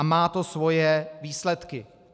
A má to svoje výsledky.